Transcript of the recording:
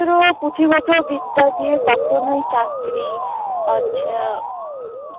এ কচি বচর বিদ্যা দিয়ে কখনও চাকরি আচ্ছা